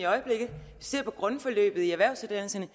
ser på grundforløbet i erhvervsuddannelserne